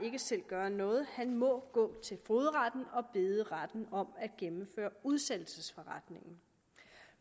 ikke selv gøre noget han må gå til fogedretten og bede retten om at gennemføre udsættelsesforretningen